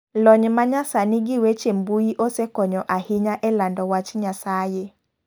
Lony manyasani gi weche mbui osekonyo ahinya e lando wach Nyasaye.